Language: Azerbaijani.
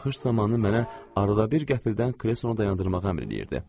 Baxış zamanı mənə arada bir qəfildən kreysonu dayandırmağı əmr eləyirdi.